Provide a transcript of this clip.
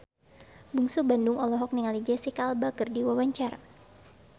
Bungsu Bandung olohok ningali Jesicca Alba keur diwawancara